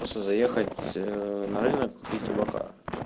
просто заехать на рынок купить табака